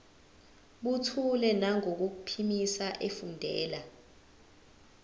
buthule nangokuphimisa efundela